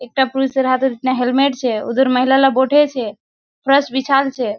एकटा पुलिस वाला हाथ में हेलमेट छै उधर महिला लोग बैठे छै फर्स बिछाएल छै।